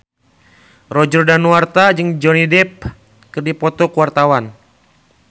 Roger Danuarta jeung Johnny Depp keur dipoto ku wartawan